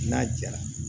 N'a jara